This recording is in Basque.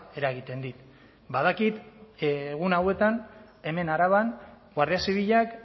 eragiten dit badakit egun hauetan hemen araban guardia zibilak